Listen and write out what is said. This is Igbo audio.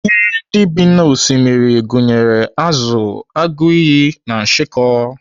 Ihe ndị bi n'Osimiri gụnyere azụ, agụiyi, na nshịkọ.